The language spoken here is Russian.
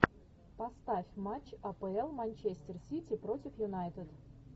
поставь матч апл манчестер сити против юнайтед